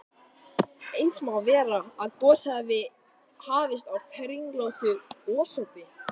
Eins má vera, að gosið hafi hafist á kringlóttu gosopi.